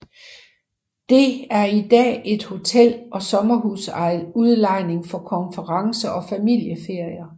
Det er i dag et hotel og sommerhusudlejning for konferencer og familieferier